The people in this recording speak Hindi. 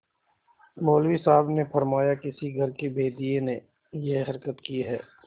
मौलवी साहब ने फरमाया किसी घर के भेदिये ने यह हरकत की है